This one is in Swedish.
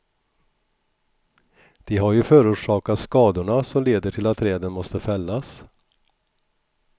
De har ju förorsakat skadorna som leder till att träden måste fällas.